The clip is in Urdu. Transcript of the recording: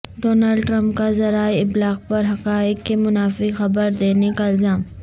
ڈونلڈ ٹرمپ کا ذرائع ابلاغ پر حقائق کے منافی خبر دینے کا الزام